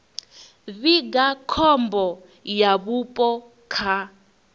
vhiga khombo ya vhupo kha